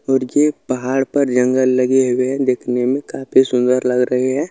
और ये पहाड़ पर जंगल लगे हुए हैं। देखने में काफी सुंदर लग रहें हैं।